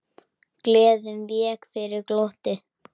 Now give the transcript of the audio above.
Gleðin vék fyrir glotti.